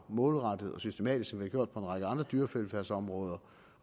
målrettet og systematisk vi har gjort på en række andre dyrevelfærdsområder